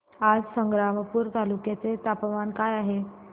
आज संग्रामपूर तालुक्या चे तापमान काय आहे